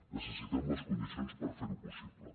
necessitem les condicions per fer ho possible